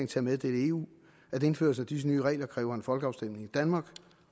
til at meddele eu at indførelsen af disse nye regler kræver en folkeafstemning i danmark